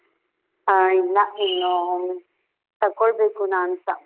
ಹಾ ಇಲ್ಲ, ಇನ್ನು ತಕ್ಕೊಳ್ಬೇಕು ನಾನ್ಸ.